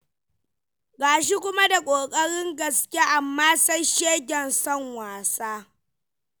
Ga shi kuma da ƙoƙarin gaske, amma sai shegen son wasa.